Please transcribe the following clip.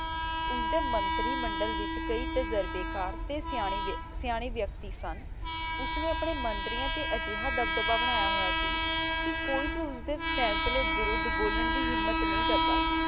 ਓਸਦੇ ਮੰਤਰੀ ਮੰਡਲ ਵਿਚ ਕਈ ਤਜਰਬੇ ਕਰ ਤੇ ਸਿਯਾਨਾਯ ਸਿਯਾਨਾਯ ਵਿਅਕਤੀ ਸਨ ਓਸਨੇ ਅਪਨੇ ਮੰਤ੍ਰਿਯਾਂ ਤੇ ਆ ਜੇਹਾ ਦਬਦਬਾ ਬਨਾਯਾ ਹੋਯਾ ਸੀ ਕੇ ਕੋਈ ਵੀ ਓਸਦੇ ਫੈਸਲੇ ਵਿਰੁਧ ਬੋਲਾਂ ਦੀ ਹਿਮਤ ਨਹੀ ਕਰਦਾ ਸੀ